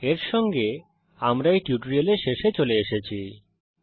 এর সঙ্গে আমরা এই টিউটোরিয়ালের শেষে চলে এসেছি